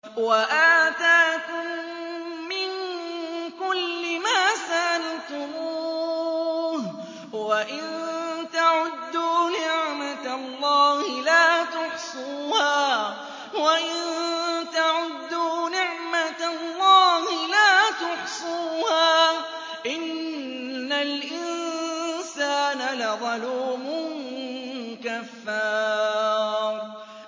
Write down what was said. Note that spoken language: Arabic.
وَآتَاكُم مِّن كُلِّ مَا سَأَلْتُمُوهُ ۚ وَإِن تَعُدُّوا نِعْمَتَ اللَّهِ لَا تُحْصُوهَا ۗ إِنَّ الْإِنسَانَ لَظَلُومٌ كَفَّارٌ